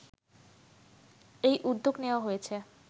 এই উদ্যোগ নেয়া হয়েছে